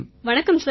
வணக்கம் சார்